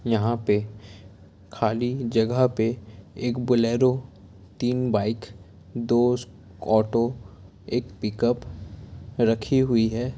यहाँ पे खाली जगह पे एक बोलेरो तीन बाइक दो स्कू ऑटो एक पिकअप रखी हुई है।